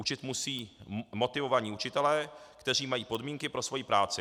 Učit musí motivovaní učitelé, kteří mají podmínky pro svoji práci.